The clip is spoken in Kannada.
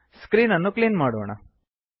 ಸ್ಕ್ರೀನ್ ಅನ್ನು ಕ್ಲೀನ್ ಮಾಡೋಣ